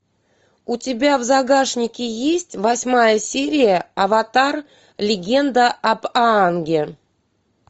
у тебя в загашнике есть восьмая серия аватар легенда об аанге